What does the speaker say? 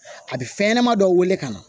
A bɛ fɛn ɲɛnama dɔ wele ka na